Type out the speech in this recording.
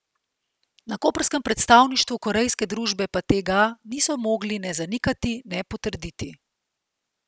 Na koprskem predstavništvu korejske družbe pa tega niso mogli ne zanikati ne potrditi.